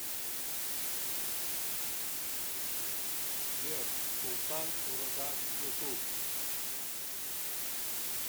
сбер султан ураган ютуб